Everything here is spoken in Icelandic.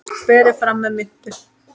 Berið fram með mintu.